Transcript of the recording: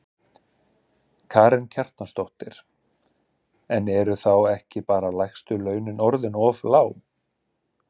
Karen Kjartansdóttir: En eru þá ekki bara lægstu launin orðin of lág?